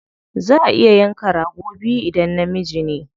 Za a iya yanka rago biyu idan namiji ne.